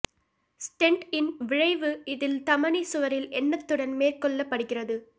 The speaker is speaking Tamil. ஸ்டென்ட் இன் விழைவு இதில் தமனி சுவரில் எண்ணத்துடன் மேற்கொள்ளப்படுகிறது